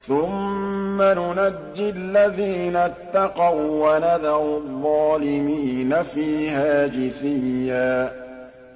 ثُمَّ نُنَجِّي الَّذِينَ اتَّقَوا وَّنَذَرُ الظَّالِمِينَ فِيهَا جِثِيًّا